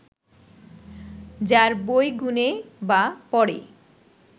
যার বই গুনে বা পড়ে